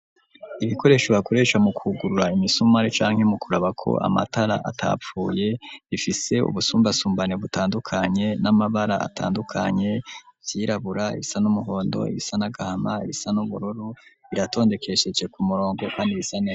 Ibikoresho bakuresha mu kugurura imisumare canke mu kuraba ko amatara atapfuye bifise ubusumbasumbane butandukanye n'amabara atandukanye vyirabura ibisa n'umuhondo ibisa nagahama ibisa n'ubururu biratondekesheje ku murongo kandi bisa neza.